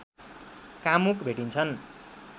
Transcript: कामुक भेटिन्छन्